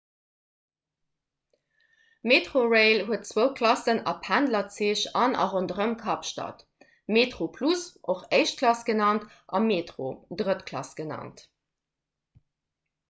metrorail huet zwou klassen a pendlerzich an a ronderëm kapstad: metroplus och éischt klass genannt a metro drëtt klass genannt